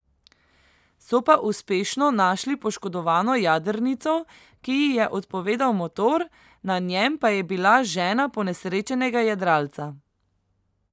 So pa uspešno našli poškodovano jadrnico, ki ji je odpovedal motor, na njem pa je bila žena ponesrečenega jadralca.